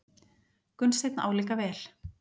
Gunnsteinn álíka vel.